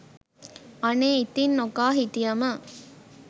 අනේ ඉතිං නොකා හිටියම